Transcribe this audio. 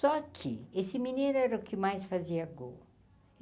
Só que esse menino era o que mais fazia gol.